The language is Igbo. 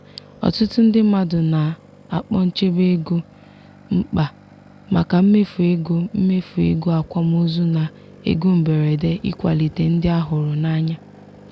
ọtụtụ ndị mmadụ na-akpọ nchebe ego mkpa maka mmefu ego mmefu ego akwamozu na ego mberede ịkwalite ndị a hụrụ n'anya.